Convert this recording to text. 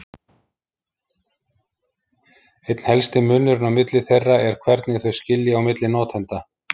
Einn helsti munurinn á milli þeirra er hvernig þau skilja á milli notenda.